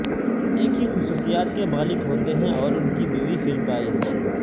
ایک ہی خصوصیات کے مالک ہوتے ہیں اور ان کی بیوی فلپائن